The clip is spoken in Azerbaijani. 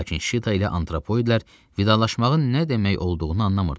Lakin Şita ilə antropoidlər vidalaşmağın nə demək olduğunu anlamırdılar.